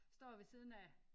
Står ved siden af